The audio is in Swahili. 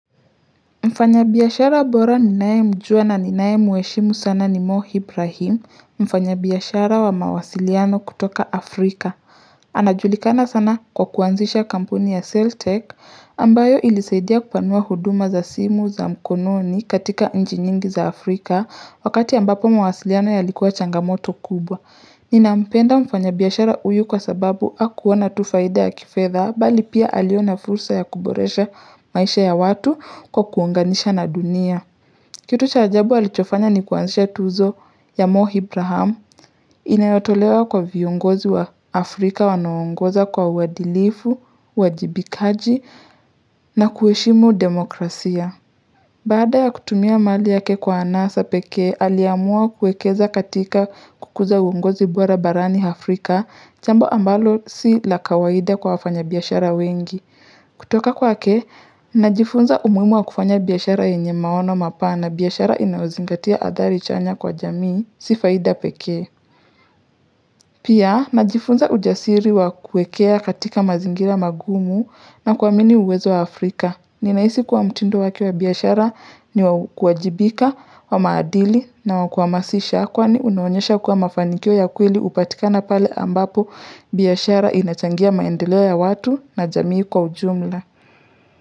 Mfanyabiashara bora ninayemjua na ninayemheshimu sana ni mohibrahim mfanyabiashara wa mawasiliano kutoka Afrika. Anajulikana sana kwa kuanzisha kampuni ya Celltech ambayo ilisaidia kupanua huduma za simu za mkononi katika nchi nyingi za Afrika wakati ambapo mawasiliano yalikuwa changamoto kubwa. Ninampenda mfanyabiashara huyu kwa sababu hakuona tu faida ya kifedha bali pia aliona fursa ya kuboresha maisha ya watu kwa kuunganisha na dunia Kitu cha ajabu alichofanya ni kuanzisha tuzo ya morehibraham Inayotolewa kwa viongozi wa Afrika wanaongoza kwa uwadilifu, uwajibikaji na kuheshimu demokrasia Baada ya kutumia mali yake kwa anasa peke, aliamua kuekeza katika kukuza uongozi bora barani Afrika, jambo ambalo si la kawaida kwa wafanyabiashara wengi. Kutoka kwake, najifunza umuhimu wa kufanya biashara yenye maono mapana biashara inayozingatia athari chanya kwa jamii, si faida pekee. Pia, najifunza ujasiri wa kuekea katika mazingira magumu na kuamini uwezo wa Afrika. Ninahisi kuwa mtindo wake wa biashara ni wa kuajibika wa maadili na wa kuhamasisha kwani unaonyesha kuwa mafanikio ya kweli hupatikana pale ambapo biashara inachangia maendeleo ya watu na jamii kwa ujumla.